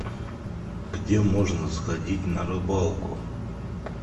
где можно сходить на рыбалку